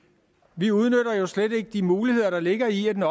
vi udnytter jo slet ikke de muligheder der ligger i at den